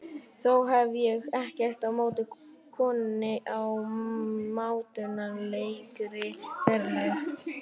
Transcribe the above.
Þó hef ég ekkert á móti konunni í mátulegri fjarlægð.